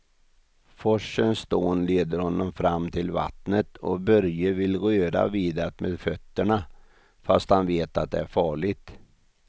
Forsens dån leder honom fram till vattnet och Börje vill röra vid det med fötterna, fast han vet att det är farligt.